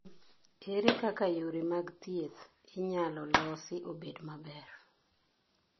Ere kaka yore mag thieth inyalo losi obed maber?